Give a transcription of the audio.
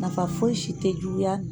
Nafa foyi si tɛ juguya